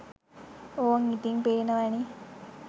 ඕං ඉතිං පේනව​නේ